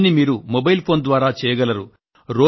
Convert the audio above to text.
ఈ పనిని మీరు మొబైల్ ఫోన్ ద్వారా చేయగలరు